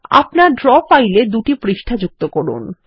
আপনার ড্র ফাইল এ দুটি পৃষ্ঠা যুক্ত করুন